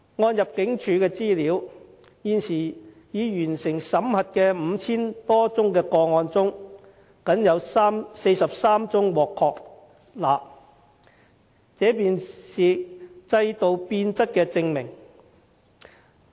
按入境事務處的資料，現時已完成審核的 5,000 多宗個案中，僅有43宗獲確立，這便是制度變質的證明。